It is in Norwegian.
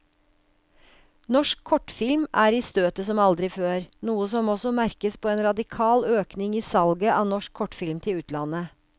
Norsk kortfilm er i støtet som aldri før, noe som også merkes på en radikal økning i salget av norsk kortfilm til utlandet.